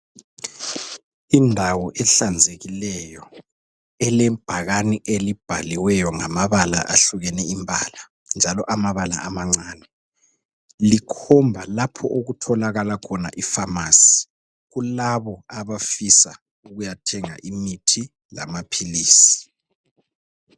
Indawo ehlanzekileyo elebhakane elibhaliweyo ngamabala ahlukene imbala njalo amabala amancane likhomba lapho okutholakala khona ifamasi kulabo abafisa ukuyathenga imithi lamaphilisi.